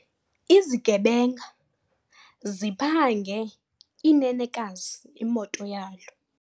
Izigebenga ziphange inenekazi imoto yalo.